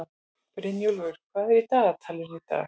Brynjúlfur, hvað er í dagatalinu í dag?